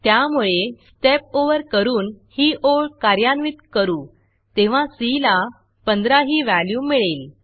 त्यामुळे स्टेप Overस्टेप ओवर करून ही ओळ कार्यान्वित करू तेव्हा सी ला 15 ही व्हॅल्यू मिळेल